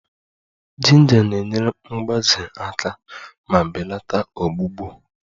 Jinja na-enyere mgbaze aka ma belata ọgbụgbọ